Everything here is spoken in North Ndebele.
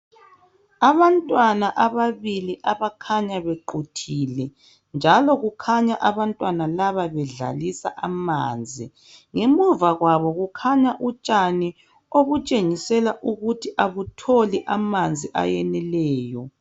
Abantwana ababili abakhanya bequthile njalo kukhanya abantwana laba bedlalisa amanzi ngemuva kwabo kukhanya utshana obutshengisela ukuthi abutholi amanzi ayeneleyo